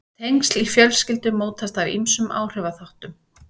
tengsl í fjölskyldum mótast af ýmsum áhrifaþáttum